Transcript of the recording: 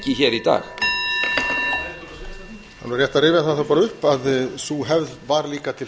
alveg rétt að rifja það þá bara upp að sú hefð var líka til